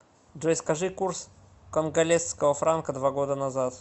джой скажи курс конголезского франка два года назад